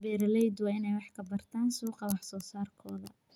Beeraleydu waa inay wax ka bartaan suuqa wax soo saarkooda.